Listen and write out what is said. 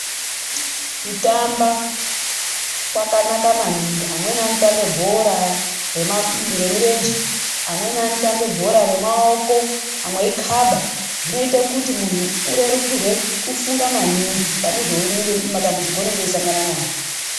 Kutamba kwakanaka maningi. Amweni anotambe bhora remirenje, amweni anotambe bhora remaoko amwe eikaba. Zvinoita kuti munhu urerukirwe kufunga maningi pane matambudziko aunenge uchisangana nawo.